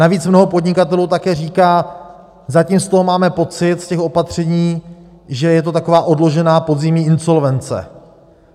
Navíc mnoho podnikatelů také říká zatím z toho máme pocit, z těch opatření, že je to taková odložená podzimní insolvence.